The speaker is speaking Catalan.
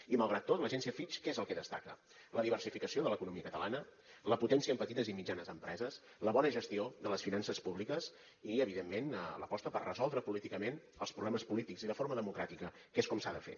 i malgrat tot l’agència fitch què és el que destaca la diversificació de l’economia catalana la potència en petites i mitjanes empreses la bona gestió de les finances públiques i evidentment l’aposta per resoldre políticament els problemes polítics i de forma democràtica que és com s’ha de fer